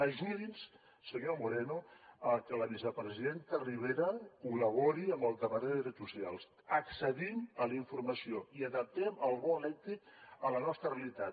ajudi’ns senyor moreno a que la vicepresidenta ribera col·labori amb el departament de drets socials accedim a la informació i adaptem el bo elèctric a la nostra realitat